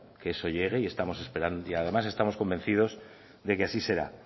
que eso llegue y estamos esperando y además estamos convencidos de que así será